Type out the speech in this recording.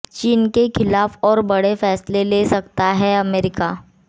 चीन के खिलाफ और बड़े फैसले ले सकता है अमेरिका